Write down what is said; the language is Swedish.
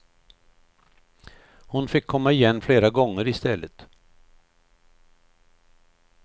Hon fick komma igen flera gånger i stället.